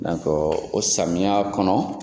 Nankɔ o samiya kɔnɔ.